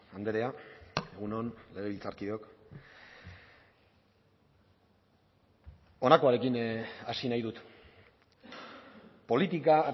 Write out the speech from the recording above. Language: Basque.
andrea egun on legebiltzarkideok honakoarekin hasi nahi dut politika